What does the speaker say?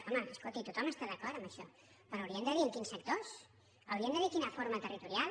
home escolti tothom està d’acord en això però haurien de dir en quins sectors haurien de dir quina forma territorial